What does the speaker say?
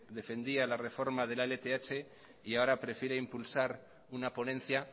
defendía la reforma de la lth y ahora prefiere impulsar una ponencia